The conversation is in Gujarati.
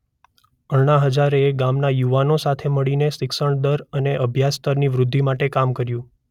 અણ્ણા હઝારે ગામના યુવાનો સાથે મળીને શિક્ષણ દર અને અભ્યાસ સ્તર ની વ્રુદ્ધિ માટે કામ્ કર્યુ.